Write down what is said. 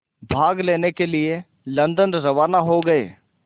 भाग लेने के लिए लंदन रवाना हो गए